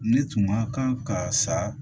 Ne tun ma kan ka sa